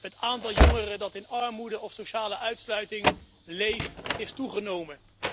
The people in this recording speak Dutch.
Het aantal jongeren dat in armoede of sociale uitsluiting leeft, is toegenomen.